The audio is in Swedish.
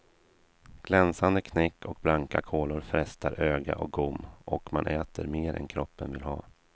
Glänsande knäck och blanka kolor frestar öga och gom och man äter mer än kroppen vill ha.